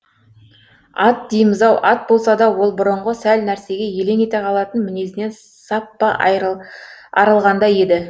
ат дейміз ау ат болса да ол бұрынғы сәл нәрсеге елең ете қалатын мінезінен саппа арылғандай еді